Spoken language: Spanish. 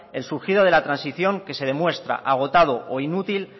el surgido de la transición que se demuestra agotado o inútil